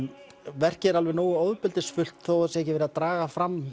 verkið er alveg nógu ofbeldisfullt þó það sé ekki verið að draga fram